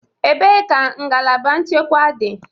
Ebee ka ngalaba nchekwa dị?